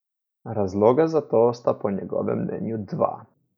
Razloga za to sta po njegovem mnenju dva.